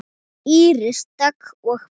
Íris Dögg og börn.